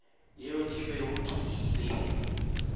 yeo ke bego ke ile